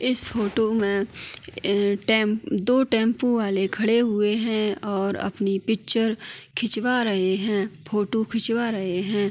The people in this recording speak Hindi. इस फोटो में अ-ए दो टेम्पो वाले खड़े हुए हैं और अपनी पिक्चर खिंचवा रहे हैं फोटो खिंचवा रहे हैं।